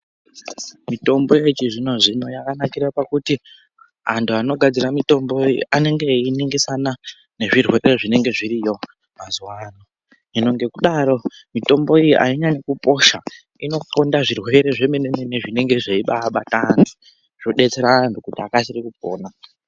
Mitombo yechizvino-zvino yakanakire pakuti ,antu anogadzira mitombo iyi anenge einingisana nezvirwere zvinenge zviriyo mazuwa ano. Hino ngekudaro, mitombo iyi ainyanyikuposha inoxonda zvirwere zvemene-mene zvinenge zveibaabata antu, zvodetsera antu kuti akasire kupona.